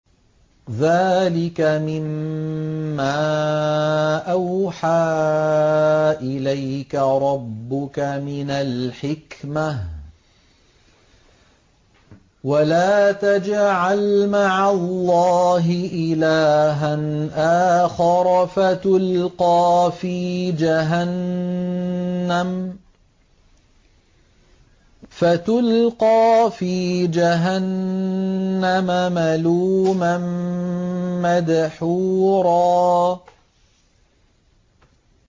ذَٰلِكَ مِمَّا أَوْحَىٰ إِلَيْكَ رَبُّكَ مِنَ الْحِكْمَةِ ۗ وَلَا تَجْعَلْ مَعَ اللَّهِ إِلَٰهًا آخَرَ فَتُلْقَىٰ فِي جَهَنَّمَ مَلُومًا مَّدْحُورًا